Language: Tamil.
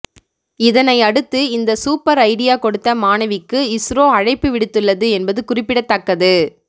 இதனை அடுத்து இந்த சூப்பர் ஐடியா கொடுத்த மாணவிக்கு இஸ்ரோ அழைப்பு விடுத்துள்ளது என்பது குறிப்பிடத்தக்கது